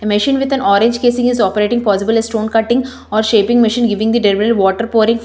a machine with an orange casing is operating possibly stone cutting or shaping machine giving the water pouring --